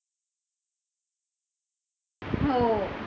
हो